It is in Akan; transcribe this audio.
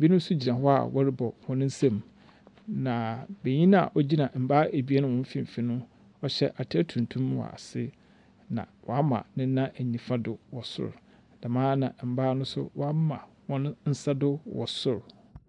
Binom nsi gyina hɔ a wɔrobɔ hɔn nsamu. Na benyina ogyina mbaa ebien hɔm mfimfin no, ɔhyɛ atar tuntum wɔ ase, na ɔama ne nan nyifa do wɔ sor. Dɛm ara na mbaa no nso wɔama hɔn nsa do wɔ sor.